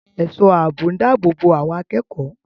Ẹ̀ṣọ́ ààbò ń dáàbò bo àwọn akẹ́kọ̀ọ́